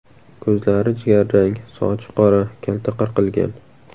Ko‘zlari jigarrang, sochi qora, kalta qirqilgan.